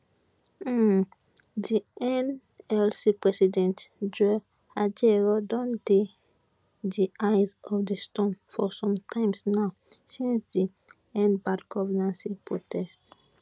um di nlc president joe ajaero don dey di eye of di storm for some time now since di end bad governance protest